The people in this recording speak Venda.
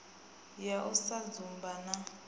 ya u sa dzumba na